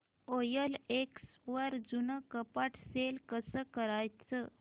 OLX वर जुनं कपाट सेल कसं करायचं